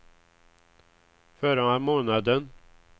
förra månaden